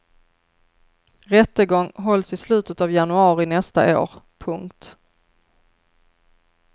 Rättegång hålls i slutet av januari nästa år. punkt